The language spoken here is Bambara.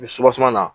Ni suwaseman na